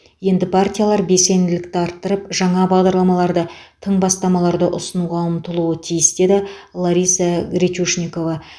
енді партиялар белсенділікті арттырып жаңа бағдарламаларды тың бастамаларды ұсынуға ұмтылуы тиіс деді лариса гречушникова